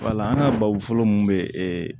Wala an ka babu fɔlɔ mun bɛ e